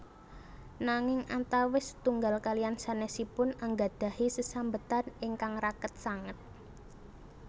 Nanging antawis setunggal kaliyan sanesipun anggadhahi sesambetan ingkang raket sanget